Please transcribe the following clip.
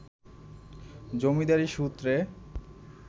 জমিদারি সূত্রে